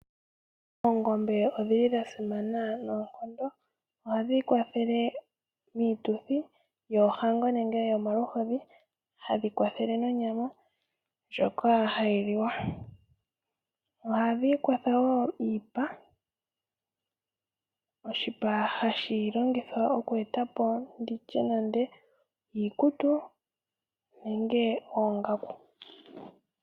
Oongombe odhi li dha simana noonkondo. Ohadhi kwathele miituthi yoohango nenge yomaluhodhi, hadhi kwathele nonyama ndjoka ha yi liwa. Ohadhi kwathele wo iipa, oshipa hashi longithwa oku e ta po ndi tye nande iikutu nenge oongaku.